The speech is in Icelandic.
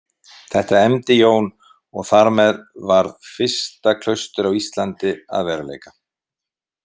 Þetta efndi Jón og þar með varð fyrsta klaustur á Íslandi að veruleika.